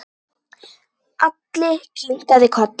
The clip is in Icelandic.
Alli kinkaði kolli.